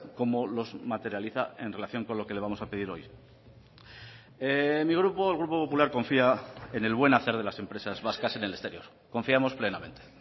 cómo los materializa en relación con lo que le vamos a pedir hoy mi grupo el grupo popular confía en el buen hacer de las empresas vascas en el exterior confiamos plenamente